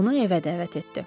Onu evə dəvət etdi.